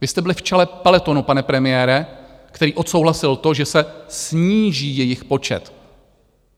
Vy jste byli v čele peletonu, pane premiére, který odsouhlasil to, že se sníží jejich počet.